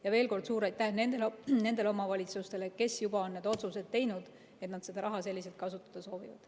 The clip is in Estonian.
Ja veel kord suur aitäh nendele omavalitsustele, kes on juba teinud need otsused, et nad seda raha selliselt kasutada soovivad.